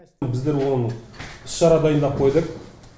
біздер оны іс шара дайындап қойдық